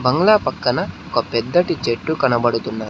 మూల పక్కన ఒక పెద్దటి చెట్టు కనబడుతున్న--